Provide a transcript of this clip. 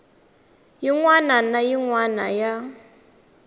wana na yin wana ya